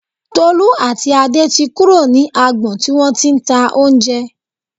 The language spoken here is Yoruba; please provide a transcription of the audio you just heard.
Tolú àti Adé ti kúrò ní agbọn tí wọ́n ti ń ta oúnjẹ